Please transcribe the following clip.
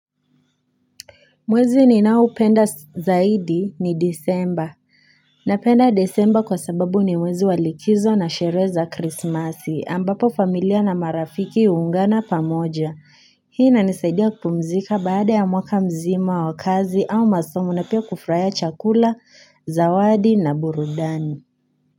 Mwezi ni naopenda zaidi ni disemba na penda desemba kwa sababu ni mwezi walikizo na sherehe za krismasi ambapo familia na marafiki uungana pamoja Hii ina nisaidia kupumzika baada ya mwaka mzima wa kazi au masomo na pia kufurahia chakula, zawadi na burudani.